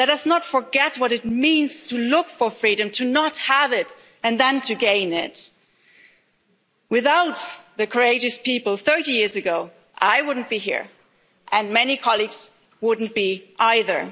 Let us not forget what it means to look for freedom, to not have it and then to gain it. Without the courageous people thirty years ago, I wouldn't be here and many colleagues would not be either.